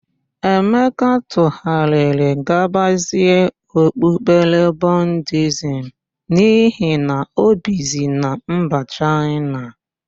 Emeka tụgharịrị gabazie okpukpere Budiizm n'ihi na ọ bizi na mba Chaịna.